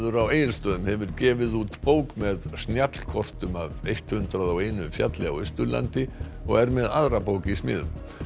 á Egilsstöðum hefur gefið út bók með snjallkortum af hundrað og einum fjalli á Austurlandi og er með aðra bók í smíðum